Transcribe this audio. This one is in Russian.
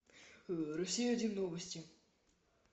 россия один новости